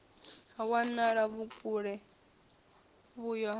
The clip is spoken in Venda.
ha wanala vhukule vhuyo ha